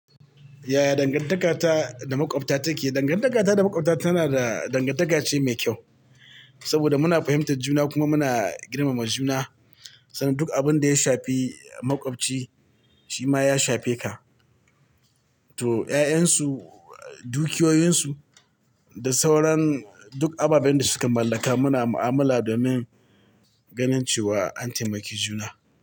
Yaya dangantaka ta da makwabta take? Dangantakata da makwabta tana da dangantaka ce mai kyau saboda muna fahimtar juna kuma muna girmama juna. Saboda duk abin da ya shafi makwabcai shi ma ya shafe ka. To 'ya'yansu, dukiyoyinsu da sauran duk ababen da suke mallaka muna mu'amala domin ganin cewa an taimaki juna.